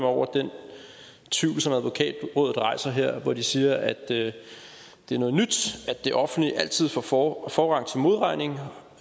over den tvivl som advokatrådet rejser her hvor de siger at det det er noget nyt at det offentlige altid får får forrang